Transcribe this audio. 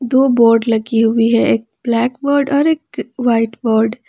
दो बोर्ड लगी हुई है एक ब्लैक बोर्ड और एक एक व्हाइट बोर्ड ।